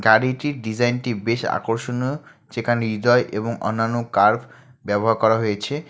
গাড়িটির ডিজাইনটি বেশ আকর্ষণীয় যেখানে হৃদয় এবং অন্যান্য কার্ভ ব্যবহার করা হয়েছে।